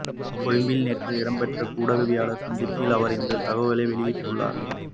கொழும்பில் நேற்று இடம்பெற்ற ஊடகவியலாளர் சந்திப்பில் அவர் இந்தத் தகவல்களை வெளியிட்டுள்ளார்